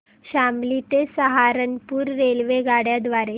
शामली ते सहारनपुर रेल्वेगाड्यां द्वारे